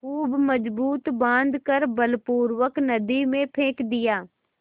खूब मजबूत बॉँध कर बलपूर्वक नदी में फेंक दिया